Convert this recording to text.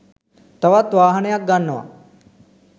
තවත් වාහනයක් ගන්නව